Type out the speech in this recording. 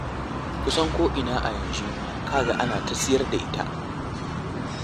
Kusan ko'ina a yanzu za ka ga ana ta siyar da ita.